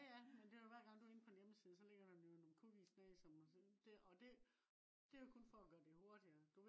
ja ja men det jo hver gang du går ind på en hjemmeside så ligger der nogle cookies ned og det det jo kun for at gøre det hurtigere